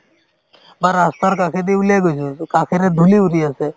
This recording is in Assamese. বা ৰাস্তাৰ কাষেদি উলিয়াই গৈছো to কাষেৰে ধূলি উৰি আছে